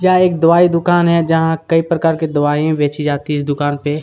यहाँ एक दवाई दुकान है जहाँ कई प्रकार की दवाईयाँ बेची जाती है इस दुकान पे --